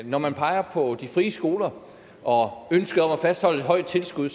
når man peger på de frie skoler og ønsket om at fastholde et højt tilskud